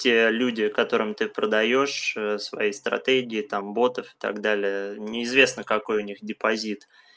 те люди которым ты продаёшь свои стратегии там ботов и так далее неизвестно какой у них депозит